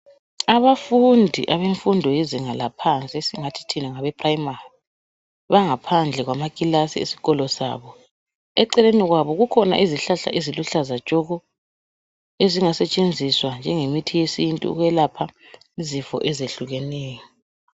Abafundi abemfundo lezinga laphansi esingathi thina ngabe primary bangaphandle kwama klasi esikolo sabo eceleni kwabo kukhona izihlahla eziluhlaza tshoko ezingasetshenziswa njenge mithi yesintu ukwelapha izifo ezehlukeneyo.